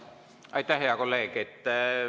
Aitäh, hea kolleeg!